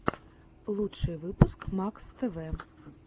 лучший выпуск макс тв